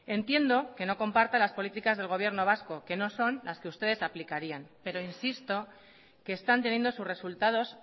entiendo que no comparta las políticas del gobierno vasco que no son las que ustedes aplicarían pero insisto que están teniendo sus resultados